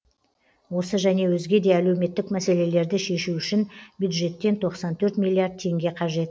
осы және өзге де әлеуметтік мәселелерді шешу үшін бюджеттен тоқсан төрт миллиард теңге қажет